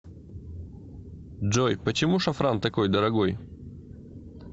джой почему шафран такой дорогой